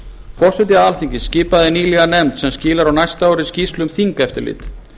forseti alþingis skipaði nýlega nefnd sem skilar á næsta ári skýrslu um þingeftirlit